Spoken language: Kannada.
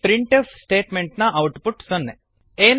ಈ printfಸ್ಟೇಟ್ಮೆಂಟ್ ನ ಔಟ್ ಪುಟ್ ಸೊನ್ನೆ